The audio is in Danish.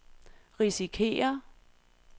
risikerer